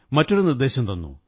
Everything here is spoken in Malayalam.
മറ്റൊരു നിര്ദ്ദേ ശം തന്നു